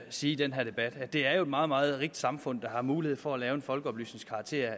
sige i den her debat at det jo er et meget meget rigt samfund der har mulighed for at lave folkeoplysning